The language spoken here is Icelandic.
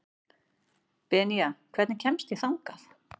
Benía, hvernig kemst ég þangað?